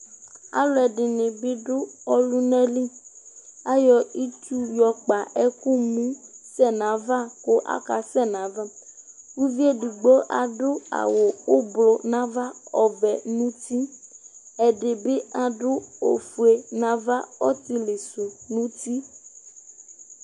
aluɛdini bi du ɔlunali ayɔ itsu yɔ kpa ɛku mu sɛ nava ku aka sɛ nava uviedigbo adu awu ublu nava ɔvɛ nu uti ɛdibi adu ofue nava ɔtili su nu uti